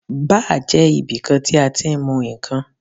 Báà jẹ́ ibi tí a ti ń mu ìkan.